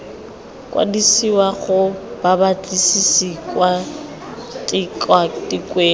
kwadisiwa ga babatlisisi kwa tikwatikweng